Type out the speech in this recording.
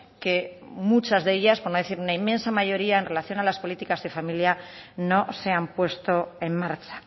que muchas de ellas por no decir una inmensa mayoría en relación a las políticas de familia no se han puesto en marcha